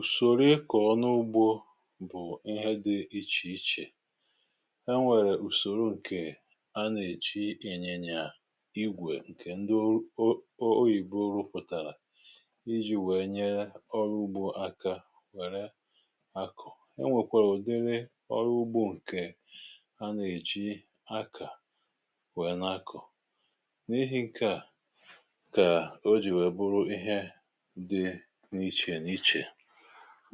ùsòrò ịkọ̀ ọnụ ugbȯ bụ̀ ihe dị̇ ichè ichè e nwèrè ùsòrò ǹkè anà-èchi ị̀nyinya igwè ǹkè ndị oo oyìbo rupụ̀tàrà iji̇ wèe nye ọrụ ugbȯ aka wère akụ̀ enwèkwere ụ̀dịri ọrụ ugbȯ ǹkè anà-èchi akà wère nà-akụ̀ n’ihi ǹkè a kà o jì wèe bụrụ ihe di niche niche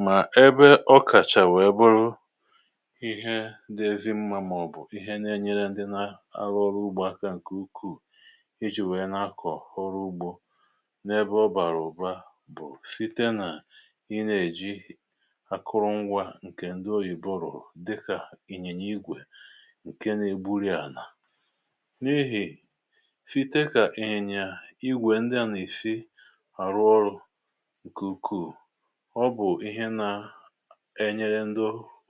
mà ebe ọkàchà wee bụrụ ihe dị ezị mmȧ màọ̀bụ̀ ihe na-enyere ndị na arụ ọrụ ugbȯ akȧ ǹkè ukwuù ịjị̀ wee n’akọ̀ ọrụ ugbȯ n’ebe ọ bàrà ụ̀ba bụ̀ site nà ị na-èji akụrụngwȧ ǹkè ndị oyìbo rụ̀rù dịkà ìnyìnya igwè ǹke na-egburì ana n’ehì síté kà ìnyìnya igwè ndị à nà-ìsi àrụ ọrụ̇ nke ukwùu ọ bù ihe nȧ enyere ndị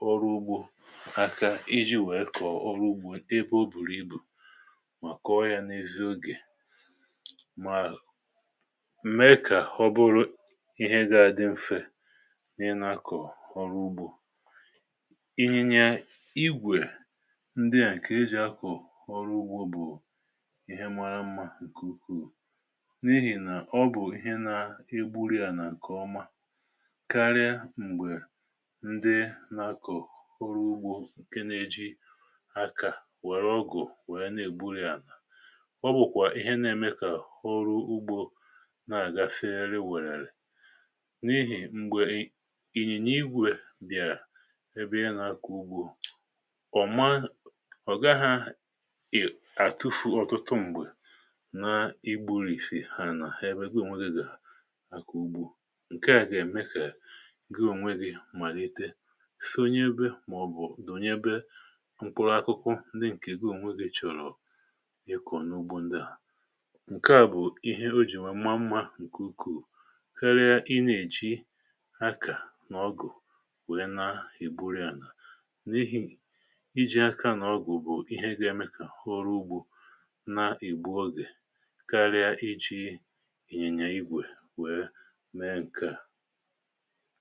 ọrụ ugbȯ aka iji̇ nwèe kọ̀ọ ọrụ ugbȯ ebe o bùrù ibù mà kọọ yȧ n’ezi ogè mà m̀ee kà ọ bụrụ ihe ga-adị m̀fe n’ị nȧkọ̀ ọrụ ugbȯ ìnyìnya igwè ndị à ǹkè e jì akọ̀ ọrụ ugbȯ bù ihe mara mmȧ ǹkè ukwùu n’ihì nà ọ bù ihe nà egburìa nà ǹkè ọma karịa m̀gbè ndị nà-akọ̀ ọrụ ugbȯ ǹke nȧ-eji akà wèrè ọgụ̀ wèe na-ègburì ana ọ bụ̀kwà ihe na-eme kà ọrụ ugbȯ na-àga siriri nwèrere n’ihì m̀gbè ị̀nyìnya igwè a bị̀ara ẹbẹ inà-akọ̀ ugbȯ ọ̀ma ọ̀ga ha e àtụfù ọ̀tụtụ m̀gbè na igburìsì àna ebe gi onwe gi ga ako ugbo nka ga eme ka gi ònwe gi malite sònye ebe màọbụ̀ dònye ebe mkpụrụ akụkụ ndị ǹkè gị ònwe gi chọ̀rọ̀ ịkọ̀ n’ugbo ndị à ǹke à bụ̀ ihe o jì nwee mma mmȧ ǹke ùkwùu karịa ị na-èji akà nà ọgụ̀ wee na-igburì ànà n’ihì iji̇ aka nà ọgụ̀ bụ̀ ihe gị ya mekà ọrụ ugbȯ nà-ìgbu ogè karịa iji̇ ịnyinya igwè wee mee ǹkà.